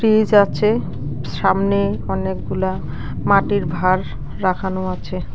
যাচ্ছে সামনে অনেকগুলা মাটির ভাঁড় রাখানো আছে।